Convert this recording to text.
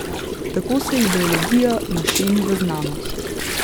Tako se ideologija našemi v znanost.